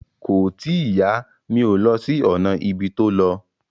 Kò tíì yá, mi ò lọ sí ọ̀nà ibi tó lọ